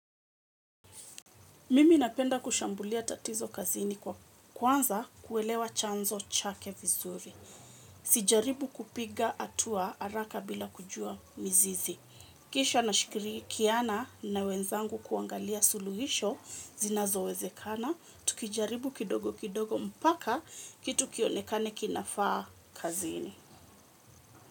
Mimi napenda kushambulia tatizo kazini kwa kwanza kuelewa chanzo chake vizuri. Sijaribu kupiga hatua haraka bila kujua mizizi. Kisha nashikirikiana na wenzangu kuangalia suluhisho zinazowezekana. Tukijaribu kidogo kidogo mpaka kitu kionekane kinafaa kazini.